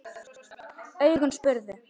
Augun spurðu.